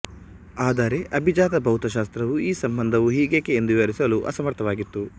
ಆದರೆ ಅಭಿಜಾತ ಭೌತಶಾಸ್ತ್ರವು ಈ ಸಂಬಂಧವು ಹೀಗೇಕೆ ಎಂದು ವಿವರಿಸಲು ಅಸಮರ್ಥವಾಗಿತ್ತು